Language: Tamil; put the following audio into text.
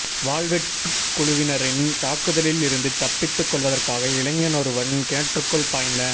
வாள்வெட்டுக் குழுவினரின் தாக்குதலில் இருந்து தப்பித்துக் கொள்வதற்காக இளைஞனொருவன் கிணற்றுக்குள் பாய்ந